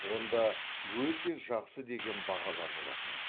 онда өте жақсы деген бағалар болатын